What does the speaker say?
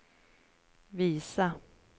visa